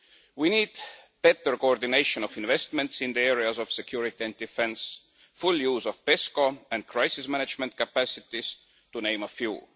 We need better coordination of investments in the areas of security and defence, full use of fiscal and crisis management capacities, to name but a few.